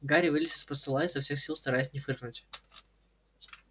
гарри вылез из-под стола изо всех сил стараясь не фыркнуть